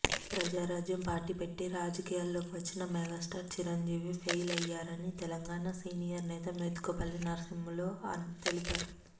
Prajarajyam party పెట్టి రాజకీయాల్లోకి వచ్చిన మెగాస్టార్ చిరంజీవి ఫెయిల్ అయ్యారని తెలంగాణ సీనియర్ నేత మోత్కుపల్లి నరసింహులు తెలిపారు